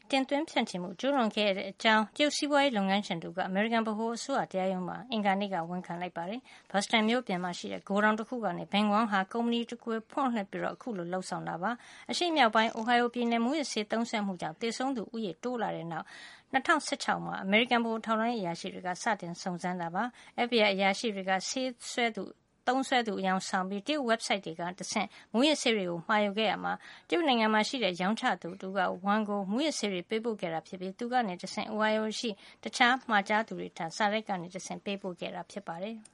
တင်သွင်းဖြန့်ချီမှု ကျူးလွန်ခဲ့တဲ့ အကြောင်း တရုတ် စီးပွါးရေး လုပ်ငန်းရှင် တဦးက အမေရိကန် ဗဟိုအစိုးရ တရားရုံးမှာ အင်္ဂါနေ့က ဝန်ခံလိုက်ပါတယ်။ Boston မြို့ပြင်ရှိ ဂိုဒေါင်တခုကနေ Bin Wang ဟာ ကုမ္ပဏီတွေကို ဖွင့်လှစ်ပြီး အခုလို လုပ်ဆောင်ခဲ့တာ ဖြစ်ပါတယ်။ အရှေ့မြောက်ပိုင်း Ohio ပြည်နယ်မှာ မူးယစ်ဆေး သုံးစွဲမှုကြောင်း သေဆုံးသူ ဦးရေ များလာပြ့ီးတဲ့နောက် ၂၀၁၆ မှာ အမေရိကန် ဗဟိုထောက်လှန်းရေး အရာရှိတွေက စတင် စုံစမ်းခဲ့တာ ဖြစ်ပါတယ်။ FBI အရာရှိတွေက ဆေးသုံးစွဲသူ အယောင်ဆောင်ပြီး တရုတ် ဝက်ဘ်ဆိုက်တွေကနေ တဆင့် မူးယစ်ဆေးတွေကို မှာယူခဲ့ရာမှာ တရုတ်နိုင်ငံရှိ ရောင်းချသူ တဦးက Wang ကို မူးယစ်ဆေးတွေ ပေးပို့ခဲ့တာ ဖြစ်ပြီး သူကတဆင့် Ohio ရှိ တခြား မှာယူသူတွေထံ စာတိုက်ကနေတဆင့် ပေးပို့ခဲ့တာ ဖြစ်ပါတယ်။